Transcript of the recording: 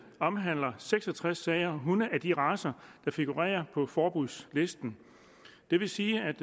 omhandler seks og tres sager hunde af de racer der figurerer på forbudslisten det vil sige at